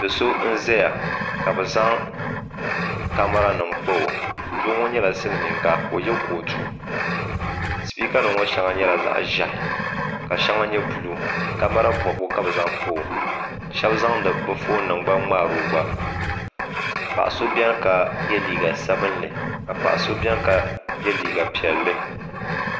Doso n ʒɛya kabɛ zaŋ camaranim n kpau. dooŋɔ nyɛla silimiinga. ka ɔye kootu speeka nim ŋɔ shaŋa nyɛla zaɣi ʒɛhi. ka shaŋa nyɛ blue. camara bɔbgu kabɛ zaŋ kpau . shebi zaŋ di bɛfɔn nim n mŋaarogba. paɣiso beni n ye liiga sabinli ka paɣa so beni ka ye liiga piɛli